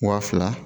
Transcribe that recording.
Wa fila